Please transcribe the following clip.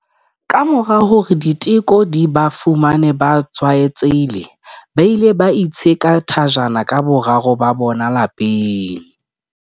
Kamora hore diteko di ba fumane ba tshwaetsehile, ba ile ba itsheka thajana ka boraro ba bona lapeng.